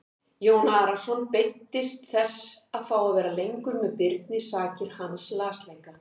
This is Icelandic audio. Jón Arason beiddist þess að fá að vera lengur með Birni sakir hans lasleika.